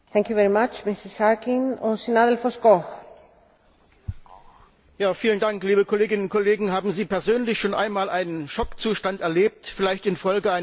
Frau Präsidentin, liebe Kolleginnen und Kollegen! Haben Sie persönlich schon einen Schockzustand erlebt, vielleicht infolge eines schweren Unfalls oder einer lebensbedrohlichen Situation?